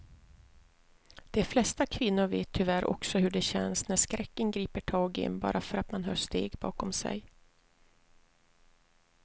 De flesta kvinnor vet tyvärr också hur det känns när skräcken griper tag i en bara för att man hör steg bakom sig.